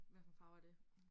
Hvad for en farve er det?